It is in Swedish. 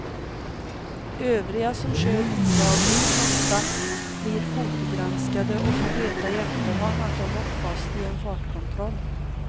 Övriga, som kör olagligt med måtta, blir fotogranskade och får veta i efterhand att de åkt fast i en fartkontroll.